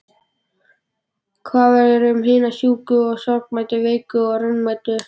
Hvað verður um hina sjúku og sorgmæddu, veiku og raunamæddu?